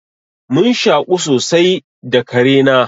Mun shaƙu sosai da kare na.